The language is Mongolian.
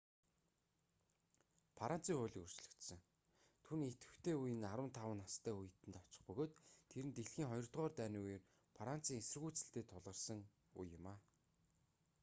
францын хууль өөрчлөгдсөн түүний идвэхтэй үе нь 15 настай үед нь очих бөгөөд тэр нь дэлхийн хоёрдугаар дайны үеэр францын эсэргүүцэлтэй тулгарасэн үе юм